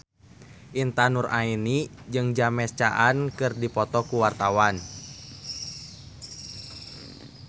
Intan Nuraini jeung James Caan keur dipoto ku wartawan